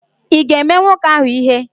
Ị ga-eme nwoke ahụ ihe?